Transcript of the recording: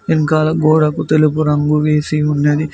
వెనకాల గోడకు తెలుపు రంగు వేసి ఉన్నది.